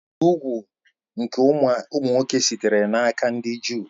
Ibi úgwù nke ụmụ nwoke sitere n'aka ndị Juu